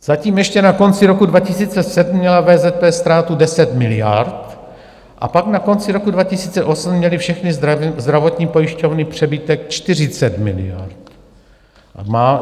Zatím ještě na konci roku 2007 měla VZP ztrátu 10 miliard a pak na konci roku 2008 měly všechny zdravotní pojišťovny přebytek 40 miliard.